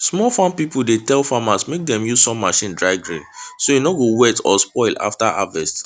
small farm people dey tell farmers mek dem use sun machine dry grain so e no go wet or spoil after harvest